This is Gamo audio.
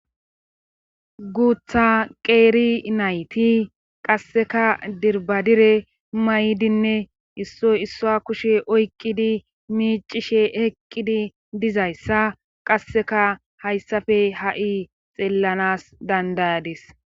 guutha qeeri nayti qasseka dirbadire maydinne issoy issoa kushe oykqidi miicishe eqqidi dizayssa qasseka hayssafe ha7i xeellanas dandayadis